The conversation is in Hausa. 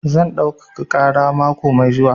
Zan ɗaukaka ƙara mako mai zuwa.